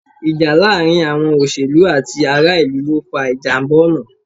Ìjà láàárín àwọn òṣèlú àti ará-ìlú ló fa ìjàmbá ọ̀nà.